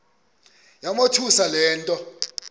yamothusa le nto